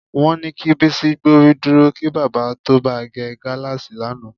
Wó̩n ni kí Bísí gbórí dúro kí bábà tó ba ge̩ gáláàsì lánàá